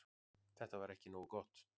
Þetta var ekki nógu gott.